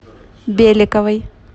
беликовой